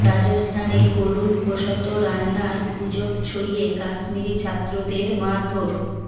রাজস্থানে গরুর গোশত রান্নার গুজব ছড়িয়ে কাশ্মিরি ছাত্রদের মারধর